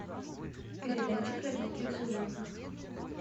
передача про диких животных